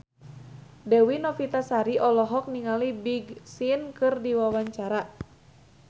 Dewi Novitasari olohok ningali Big Sean keur diwawancara